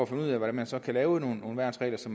finde ud af hvordan man så kan lave nogle værnsregler så